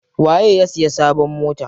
Waye ya siya sabon mota?